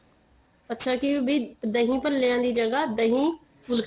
ਅੱਛਾ ਕੀ ਬੀ ਦਹੀ ਭਲਿਆਂ ਦੀ ਜਗ੍ਹਾ ਦਹੀ ਫੁਲਕੀ